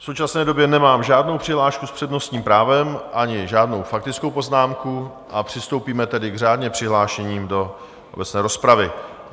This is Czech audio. V současné době nemám žádnou přihlášku s přednostním právem ani žádnou faktickou poznámku, a přistoupíme tedy k řádně přihlášeným do obecné rozpravy.